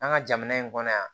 An ka jamana in kɔnɔ yan